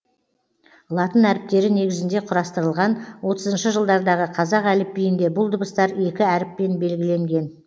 латын әріптері негізінде құрастырылған отызыншы жылдардағы қазақ әліпбиінде бұл дыбыстар екі әріппен белгіленген